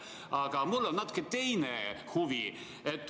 Aga mul on natuke teine huvi.